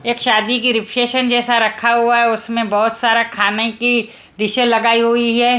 एक शादी की रिसेप्शन जैसा रखा हुआ है उसमें बहोत सारा खाने की डीशे लगाई हुई है।